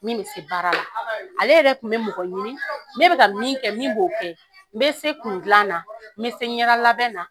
Min bɛ se baara la, ale yɛrɛ kun bɛ mɔgɔ ɲini ne bɛ ka min kɛ min b'o kɛ, me se kun klan na, me se ɲɛda labɛn na